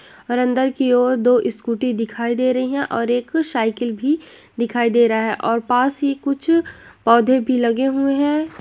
और अंदर की ओर दो स्कूटी दिखाई दे रही है और एक साइकिल भी दिखाई दे रहा है और पास ही कुछ पौधे भी लगे हुए है।